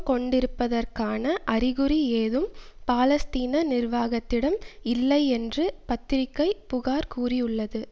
கொண்டிருப்பதற்கான அறிகுறி ஏதும் பாலஸ்தீன நிர்வாகத்திடம் இல்லை என்று பத்திரிகை புகார் கூறியுள்ளது